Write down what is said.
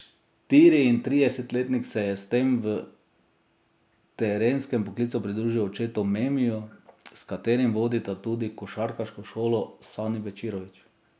Štiriintridesetletnik se je s tem v trenerskem poklicu pridružil očetu Memiju, s katerim vodita tudi košarkarsko šolo Sani Bečirović.